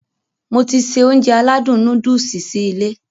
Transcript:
Mo ti se Ounjẹ aládùn nóódùsì sí ilé